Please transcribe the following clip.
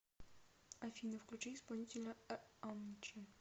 афина включи исполнителя амчи